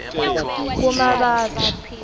kumabasa